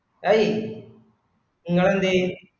അയ് ഇങ്ങള് എന്തെ